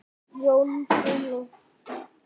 Jón Bruno.